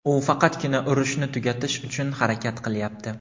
U faqatgina "urushni tugatish" uchun harakat qilyapti.